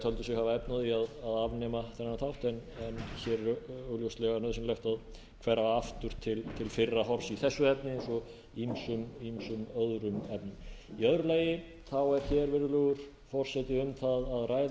töldu sig hafa efni á því að afnema þennan þátt en hér er augljóslega nauðsynlegt að hverfa aftur til fyrra horfs í þessu efni eins og ýmsum öðrum efnum í öðru lagi er hér virðulegur forseti um það að ræða að